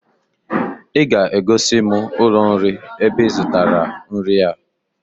I ga-egosi m ụlọ nri ebe I zụtara nri a!